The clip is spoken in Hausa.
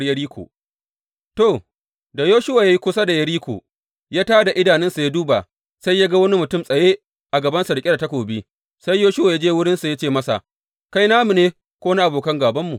Fāɗuwar Yeriko To, da Yoshuwa ya yi kusa da Yeriko, ya tā da idanunsa ya duba, sai ya ga wani mutum tsaye a gabansa riƙe da takobi, sai Yoshuwa ya je wurinsa ya ce masa, Kai namu ne ko na abokan gābanmu?